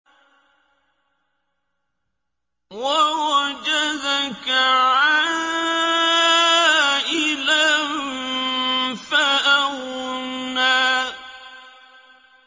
وَوَجَدَكَ عَائِلًا فَأَغْنَىٰ